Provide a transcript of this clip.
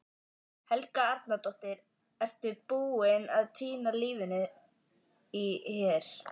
Helga Arnardóttir: Ertu tilbúinn að týna lífinu hér?